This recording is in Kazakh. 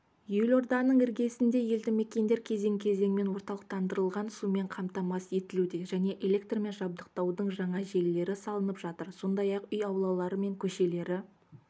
елорданың іргесінде елдімекендер кезең кезеңімен орталықтандырылған сумен қамтамасыз етілуде және электрмен жабдықтаудың жаңа желілері салынып жатыр сондай-ақ үй аулалары мен көшелері